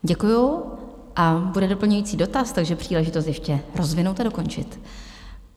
Děkuju a bude doplňující dotaz, takže příležitost ještě rozvinout a dokončit.